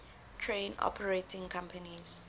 train operating companies